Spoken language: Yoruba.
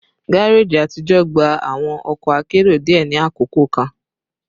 Gareji atijọ gba awọn ọkọ akero diẹ ni akoko kan